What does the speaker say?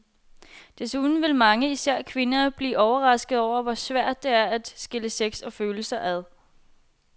Desuden vil mange, især kvinder, blive overraskede over, hvor svært det er at skille sex og følelser ad.